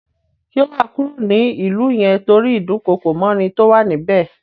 Ṣé wà á kúrò ní ìlú yẹn tórí ìdúkookòmọ́ni tó wà ní bẹ̀?